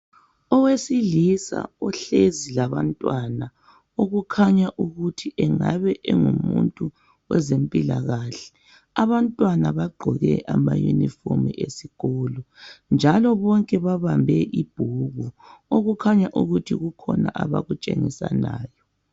Owesilisa uhlezi labantwana okukhanya ukuthi angabe engumuntu wezempikahle. Abantwana bagqoke amayunifomu esikolo njalo bonke babambe ibhuku okukhanya ukuthi kukhona abakutshengisanayo.